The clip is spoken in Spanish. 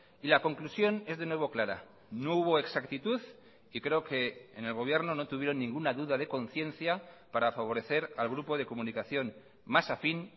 y la conclusión es de nuevo clara no hubo exactitud y creo que en el gobierno no tuvieron ninguna duda de conciencia para favorecer al grupo de comunicación más afín